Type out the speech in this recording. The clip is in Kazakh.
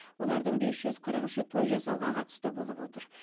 олардың бес жүз қырық үші той жасауға қатысты болып отыр